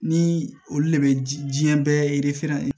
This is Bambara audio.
Ni olu de bɛ diɲɛ bɛɛ